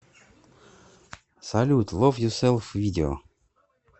салют лов юселф видео